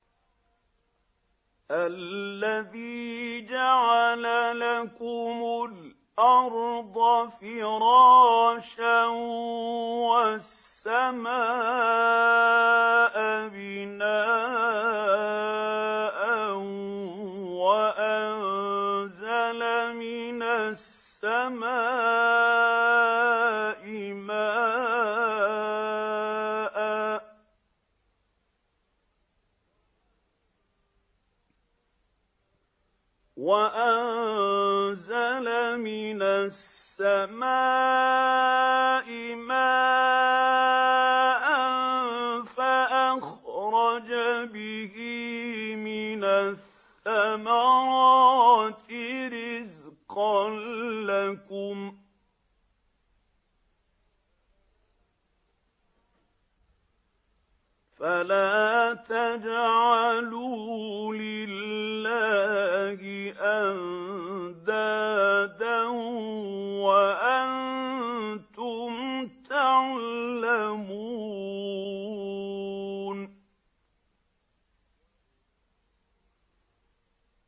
الَّذِي جَعَلَ لَكُمُ الْأَرْضَ فِرَاشًا وَالسَّمَاءَ بِنَاءً وَأَنزَلَ مِنَ السَّمَاءِ مَاءً فَأَخْرَجَ بِهِ مِنَ الثَّمَرَاتِ رِزْقًا لَّكُمْ ۖ فَلَا تَجْعَلُوا لِلَّهِ أَندَادًا وَأَنتُمْ تَعْلَمُونَ